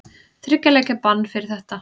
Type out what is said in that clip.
Þriggja leikja bann fyrir þetta?